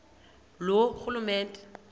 loorhulumente